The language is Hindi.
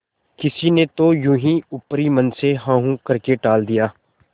किसी ने तो यों ही ऊपरी मन से हूँहाँ करके टाल दिया